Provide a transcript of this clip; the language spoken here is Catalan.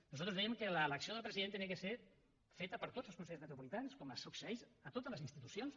nosaltres dèiem que l’elecció del president havia de ser feta per tots els consellers metropolitans com succeeix a totes les institucions